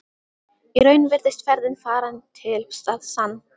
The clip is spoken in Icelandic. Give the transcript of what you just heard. Í raun virðist ferðin farin til að sann